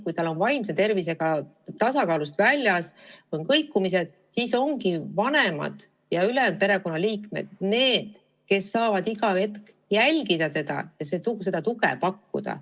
Kui lapse vaimne tervis on tasakaalust väljas, esineb kõikumisi, siis ongi vanemad ja ülejäänud perekonnaliikmed need, kes saavad teda iga hetk jälgida ja tuge pakkuda.